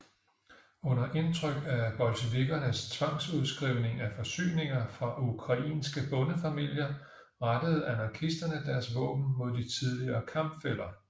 Under indtryk af bolsjevikkernes tvangsudskrivning af forsyninger fra ukrainske bondefamilier rettede anarkisterne deres våben mod de tidligere kampfæller